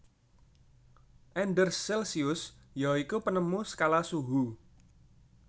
Anders Celsius ya iku penemu skala suhu